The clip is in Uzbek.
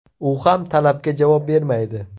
U ham talabga javob bermaydi.